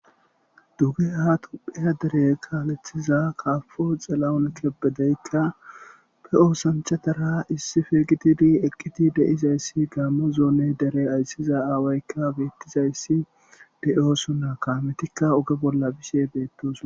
Dugeha dere kalethiza kaboyi xilahuni kebedeyi ba osanichchatara issippe gididi eqidi deizayidi Gamo dere ayisza aawayikka betizayis deosoona gagetikka oge bola betosona